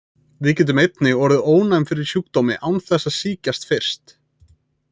Við getum einnig orðið ónæm fyrir sjúkdómi án þess að sýkjast fyrst.